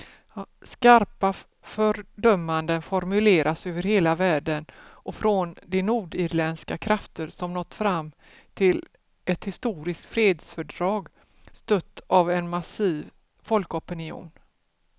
Skarpa fördömanden formuleras över hela världen och från de nordirländska krafter som nått fram till ett historiskt fredsfördrag, stött av en massiv folkopinion.